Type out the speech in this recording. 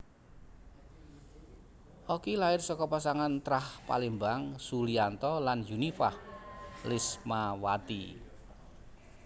Oki lair saka pasangan trah Palembang Suliyanto lan Yunifah Lismawati